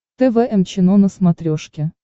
тэ вэ эм чено на смотрешке